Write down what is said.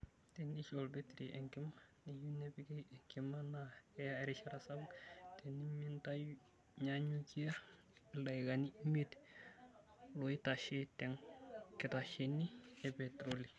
Teneishu olbetiri enkima neyieu nepiki enkima, naa keyaa erishata sapuk tenintanyanyukia ildaikani imiet loitashe te nkitesheni e petiroli